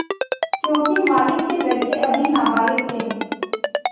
योंकि मालिक के लड़के अभी नाबालिग थे